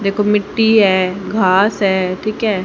देखो मिट्टी है घास है ठीक है।